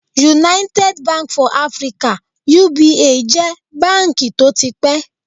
United Bank for Africa (UBA) jẹ́ báǹkì tó ti pẹ́